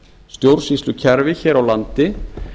stjórnsýslukerfi hér á landi